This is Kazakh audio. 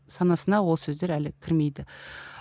санасына ол сөздер әлі кірмейді